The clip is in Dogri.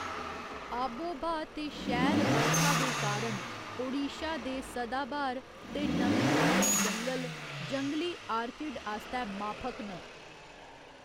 आबोब्हा ते शैल बरखा दे कारण, ओडिशा दे सदाब्हार ते नमीं आह्‌ले जंगल जंगली आर्किड आस्तै माफक न।